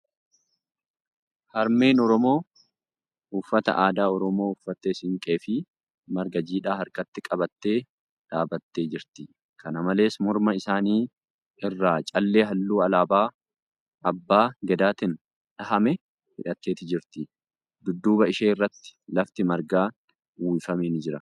Harmeen Oromoo uffata aadaa Oromoo uffattee siinqee fi marga jiidhaa harkatti qabattee dhaabbattee jirti . Kana malees, morma isaanii irraa callee halluu alaabaa abbaa gadaatiin dha'ame hidhattee jirti. Dudduuba ishee irratti lafti margaa uwwifame ni jira.